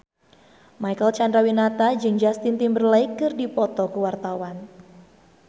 Marcel Chandrawinata jeung Justin Timberlake keur dipoto ku wartawan